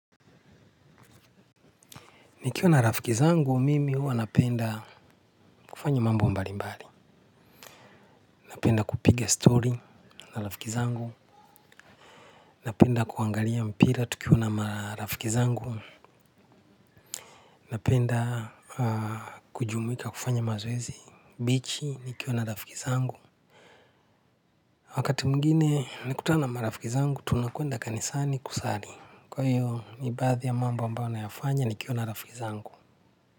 Nikiwa na rafiki zangu mimi huwa napenda kufanya mambo mbalimbali. Napenda kupiga stori na rafiki zangu. Napenda kuangalia mpira tukiwa na marafiki zangu. Napenda kujumuika kufanya mazoezi bichi nikiwa na rafiki zangu wakati mwingine nikikutana na marafiki zangu tunakwenda kanisani kusali kwa hiyo ni baadhi ya mambo ambayo nayafanya nikiwa na rafiki zangu.